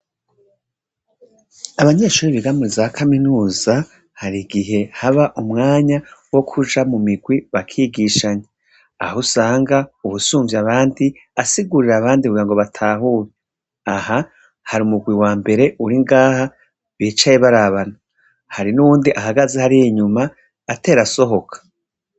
Abanyeshure biga muzakaminuza harigihe haba umwanya wokuja mumigwi bakigishanya ahusanga uwusumvya abandi asigurira abandi kugira batahure. Aha har'umugwi wambere uringaha bicaye barabana hari nuwundi ahagaze hariy'inyuma atera asohoka.